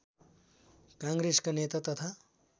काङ्ग्रेसका नेता तथा